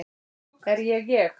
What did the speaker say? Er ég ég?